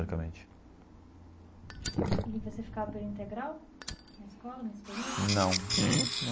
Teoricamente. E você ficava em período integral na escola, nesse período? Não num.